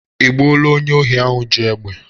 E gbuola onye ohi ahụ ji egbe?